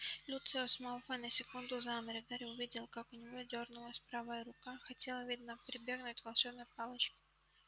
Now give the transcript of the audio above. люциус малфой на секунду замер и гарри увидел как у него дёрнулась правая рука хотел видно прибегнуть к волшебной палочке